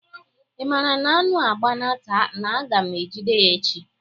Ị maara na anụ a gbana taa na-aga m ejide ya echi?